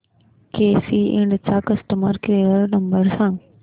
केसी इंड चा customer care number सांग